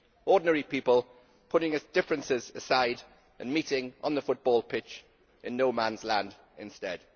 Ordinary people putting their differences aside and meeting on the football pitch in no man's land instead.